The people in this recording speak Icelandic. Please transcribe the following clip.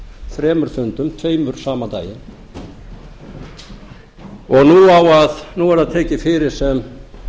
þremur fundum tveimur sama daginn og nú er það tekið fyrir sem